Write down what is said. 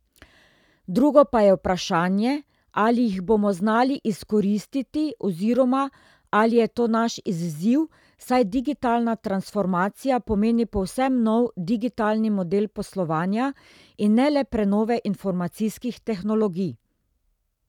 Drugo pa je vprašanje, ali jih bomo znali izkoristiti oziroma ali je to naš izziv, saj digitalna transformacija pomeni povsem nov digitalni model poslovanja in ne le prenove informacijskih tehnologij.